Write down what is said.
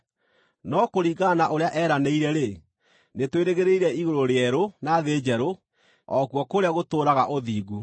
No kũringana na ũrĩa eeranĩire-rĩ, nĩtwĩrĩgĩrĩire igũrũ rĩerũ na thĩ njerũ, o kuo kũrĩa gũtũũraga ũthingu.